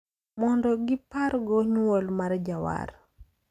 Mondo gipargo nywol mar jawar.